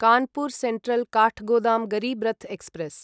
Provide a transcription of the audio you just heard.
Kanpur central Kathgodam Garib Rath express